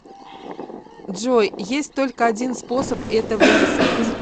джой есть только один способ это выяснить